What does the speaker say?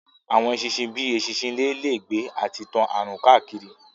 Àwọn eṣinṣin bíi eṣinṣin ilé lè gbé àti tán àrùn káàkiri